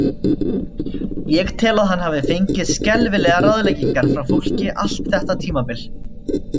Ég tel að hann hafi fengið skelfilegar ráðleggingar frá fólki allt þetta tímabil.